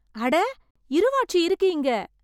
அட இருவாட்சி இருக்கு இங்க!